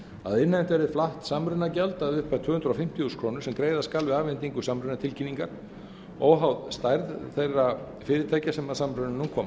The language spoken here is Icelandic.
að innheimt verði flatt samrunagjald að upphæð tvö hundruð fimmtíu þúsund krónur sem greiða skal við afhendingu samrunatilkynningar óháð stærð þeirra fyrirtækja sem að samrunanum koma